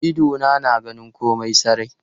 Idona na ganin komai sarai.